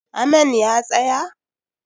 Amain ya tsaya?